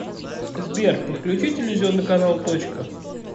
сбер подключи телевизионный канал точка